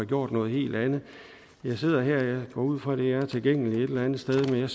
gjort noget helt andet jeg sidder her jeg går ud fra at det er tilgængeligt et eller andet sted der